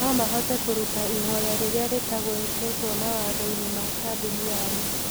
No mahote kũruta ihoya rĩrĩa rĩtagwetetwo mawatho-inĩ ma kambuni yanyu.